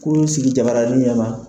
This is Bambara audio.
Kurun sigi ja baranin ɲɛn ma.